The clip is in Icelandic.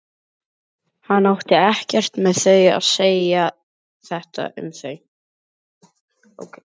Hann átti ekkert með að segja þetta um þau.